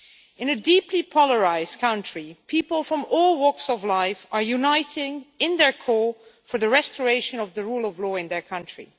In a deeply polarised country, people from all walks of life are uniting to call for the restoration of the rule of law in their country.